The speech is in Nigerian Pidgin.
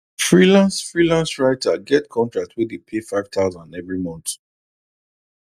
freelance freelance writer get contract wey dey pay 5000 every month